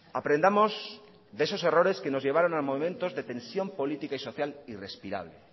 aprendamos de esos errores que nos llevaron a momentos de tensión política y social irrespirable